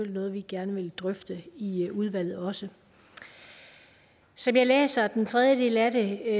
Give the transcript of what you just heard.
noget vi gerne vil drøfte i udvalget også som jeg læser den tredje del af det